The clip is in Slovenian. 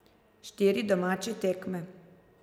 Štiri domače tekme.